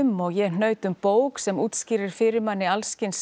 og ég hnaut um bók sem útskýrir fyrir manni alls kyns